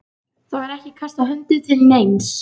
Það var ekki kastað höndum til neins.